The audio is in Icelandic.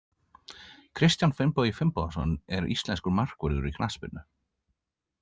Kristján Finnbogi Finnbogason er íslenskur markvörður í knattspyrnu.